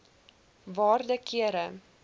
waarde kere